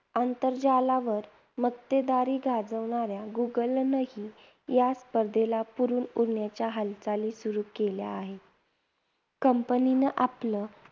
आंतरजालावर मक्तेदारी गाजवणाऱ्या गुगलनेही या स्पर्धेला पुरून उरण्याच्या हालचाली सुरु केल्या आहेत. company ने आपलं